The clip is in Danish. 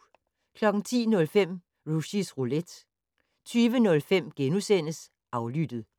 10:05: Rushys Roulette 20:05: Aflyttet *